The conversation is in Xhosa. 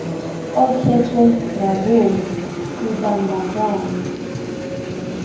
okhethwe ngabom kubandakanyo